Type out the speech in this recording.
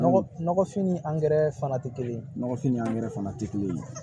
Nɔgɔ nɔgɔfin ni angɛrɛ fana tɛ kelen nɔgɔfin ni angɛrɛ fana tɛ kelen ye